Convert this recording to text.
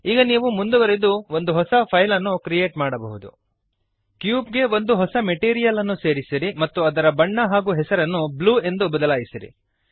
ಈಗ ನೀವು ಮುಂದುವರಿದು ಒಂದು ಹೊಸ ಫೈಲನ್ನು ಕ್ರಿಯೇಟ್ ಮಾಡಬಹುದು ಕ್ಯೂಬ್ ಗೆ ಒಂದು ಹೊಸ ಮೆಟೀರಿಯಲ್ ಅನ್ನು ಸೇರಿಸಿರಿ ಮತ್ತು ಅದರ ಬಣ್ಣ ಹಾಗೂ ಹೆಸರನ್ನು ಬ್ಲೂ ಎಂದು ಬದಲಾಯಿಸಿರಿ